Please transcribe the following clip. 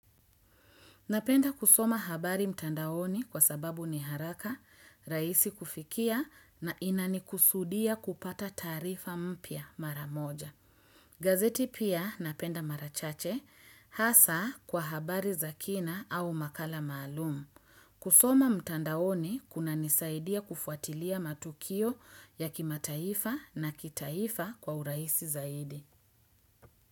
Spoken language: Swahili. Napenda kusoma habari mtandaoni kwa sababu ni haraka, rahisi kufikia na inanikusudia kupata taarifa mpya mara moja. Gazeti pia napenda mara chache hasa kwa habari za kina au makala maalumu. Kusoma mtandaoni kunanisaidia kufuatilia matukio ya kimataifa na kitaifa kwa urahisi zaidi.